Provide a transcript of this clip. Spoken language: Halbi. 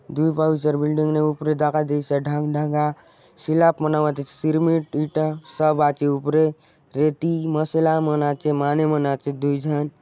दूय बाइसर बिल्डिंग ने ऊपरे दखा देयसी आचे ढंढंगा स्लैप मन सिरमित इट्टा सब आचे उपरे रेती मसला मन आचे माने मन अचेत दूय झन --